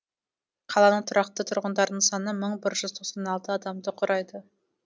қаланың тұрақты тұрғындарының саны мың бір жүз тоқсан алты адамды құрайды